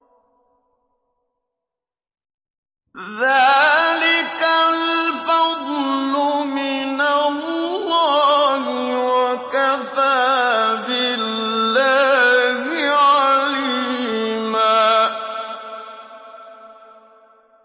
ذَٰلِكَ الْفَضْلُ مِنَ اللَّهِ ۚ وَكَفَىٰ بِاللَّهِ عَلِيمًا